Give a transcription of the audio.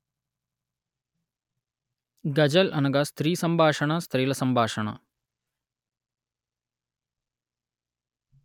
గజల్ అనగా స్త్రీ సంభాషణ స్త్రీల సంభాషణ